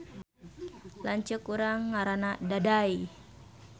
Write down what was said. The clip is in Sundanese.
Lanceuk urang ngaranna Daday